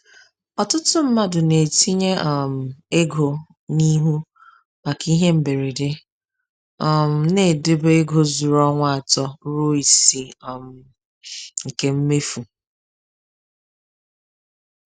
Ọtụtụ mmadụ na-etinye um ego n’ihu maka ihe mberede, um na-edobe ego zuru ọnwa atọ ruo isii um nke mmefu.